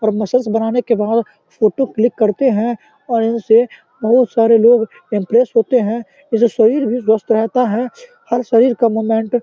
और मसाज बनाने के बाद फोटो क्लिक करते है और इनसे बहुत सारे लोग इम्प्रेस होते है ये जो शरीर भी दोस्त रहता है हर शरीर का मूवमेंट --